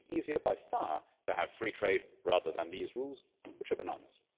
It would be easier by far to have free trade rather than these rules, which are bananas.